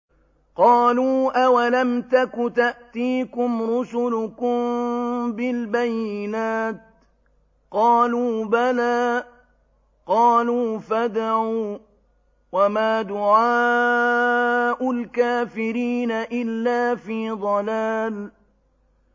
قَالُوا أَوَلَمْ تَكُ تَأْتِيكُمْ رُسُلُكُم بِالْبَيِّنَاتِ ۖ قَالُوا بَلَىٰ ۚ قَالُوا فَادْعُوا ۗ وَمَا دُعَاءُ الْكَافِرِينَ إِلَّا فِي ضَلَالٍ